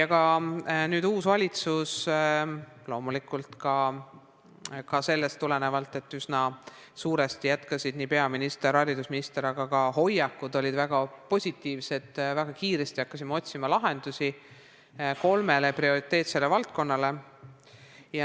Ka nüüdne uus valitsus – loomulikult tulenevalt sellest, et üsna suuresti on jätkanud nii peaminister kui ka haridusminister ja et hoiakud olid väga positiivsed – hakkas väga kiiresti otsima lahendusi kolmele prioriteetsele valdkonnale.